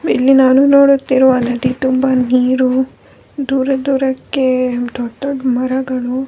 ಇಲ್ಲಿ ನಾನು ನೋಡುತ್ತಿರುವ ನದಿ ತುಂಬ ನೀರು ದೂರ ದೂರಕ್ಕೆ ದೊಡ್ಡ್ ದೊಡ್ಡ್ ಮರಗಳು --